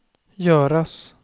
göras